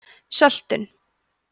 söltun